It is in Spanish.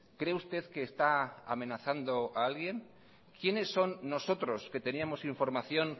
cree usted qué está amenazando a alguien quiénes son nosotros que teníamos información